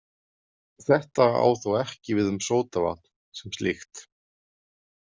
Þetta á þó ekki við um sódavatn sem slíkt.